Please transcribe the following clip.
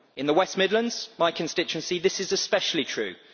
In the West Midlands, my constituency, this is especially true.